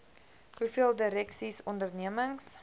hoeveel direksies ondernemings